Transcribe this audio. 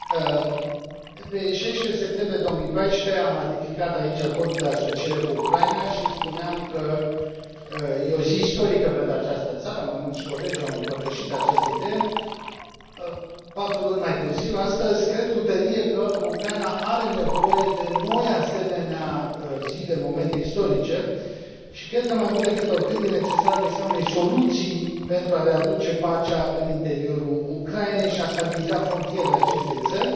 Domnule Președinte, în 16 septembrie 2014, am ratificat aici Acordul de asociere cu Ucraina și spuneam că este o zi istorică pentru această țară mai mulți colegi au împărtășit această idee. Patru luni mai târziu, astăzi, cred cu tărie că Ucraina are nevoie de noi asemenea zile, momente istorice. Și cred că, mai mult decât oricând, este necesară găsirea unei soluții pentru a readuce pacea în interiorul Ucrainei și a stabiliza frontierele acestei țări.